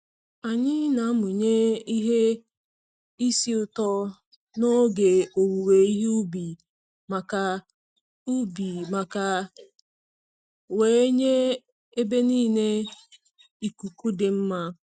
Anyï na-amụnye ihe isi ụtọ n'oge owuwe ihe ubi um maka ubi um maka wee nye ebe niile um ikuku dị mma